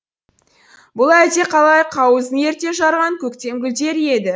бұл әлдеқалай қауызын ерте жарған көктем гүлдері еді